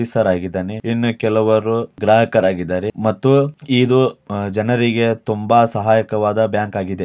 Officer ಹಾಗಿದ್ದಾನೆ ಇನ್ನೂ ಕೆಲವರು ಗ್ರಾಹಕರು ಹಾಗಿದ್ದರೆ ಮತ್ತು ಇದು ಜನರಿಗೆ ತುಂಬಾ ಸಹಾಯಕವಾದ ಬ್ಯಾಂಕ್ ಹಾಗಿದೆ.